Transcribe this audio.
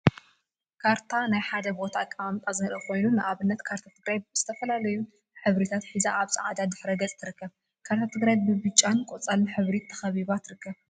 ካርታ ካርታ ናይ ሓደ ቦታ አቀማምጣ ዘርኢ ኮይኑ፤ ንአብነት ካርታ ትግራይ ዝተፈላለዩ ሕብሪታት ሒዛ አብ ፃዕዳ ድሕረ ገፅ ትርከብ፡፡ ካርታ ትግራይ ብብጫን ቆፃል ሕብሪን ተከቢባ ትርከብ፡፡